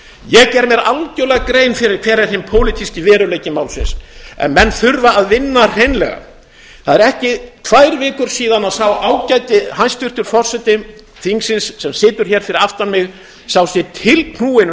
ég geri mér algjörlega grein fyrir hver er hinn pólitíski veruleiki málsins en menn þurfa að vinna hreinlega það eru ekki tvær vikur síðan sá ágæti hæstvirti forseti þingsins sem situr hér yfir aftan mig sá sig tilknúinn